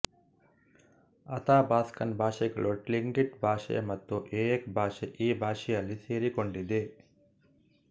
Athabaskan ಭಾಷೆಗಳು Tlingit ಭಾಷೆ ಮತ್ತು ಎಯಕ್ ಭಾಷೆ ಈ ಭಾಷೆಯಲ್ಲಿ ಸೆರಿಕೊಂಡಿದೆ